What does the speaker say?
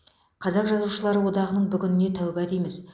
қазақ жазушылары одағының бүгініне тәуба дейміз